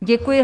Děkuji.